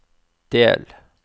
del